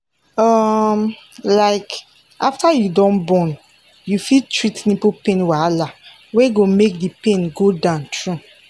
um like after you don born you fit treat nipple pain wahala wey go make the pain go down true